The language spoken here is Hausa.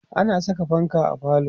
ana Saka fanka a falo